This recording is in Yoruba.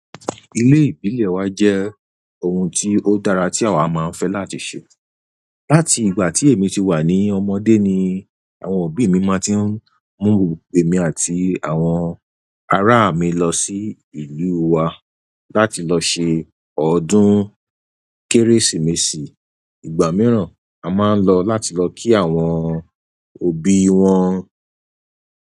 Ilé ìbílẹ̀ wa jẹ́ ohun tí ó dára tí àwa máa ń fẹ́ láti ṣe. Láti ìgbà tí èmi ti wà ní ọmọdé ni àwọn òbí mi máa ti ń mú emi àti àwọn ará mi lọ sí ìlú wa láti lọ ṣe ọdún Kérésìmesì. Ìgbà mìíràn a máa ń lọ láti lọ kí àwọn òbí wọn.